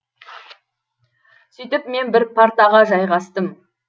сөйтіп мен бір партаға жайғастым